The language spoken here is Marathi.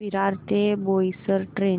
विरार ते बोईसर ट्रेन